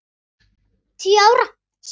Tíu ára, svaraði hún.